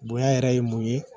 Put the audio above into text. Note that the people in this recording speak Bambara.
Bonya yɛrɛ ye mun ye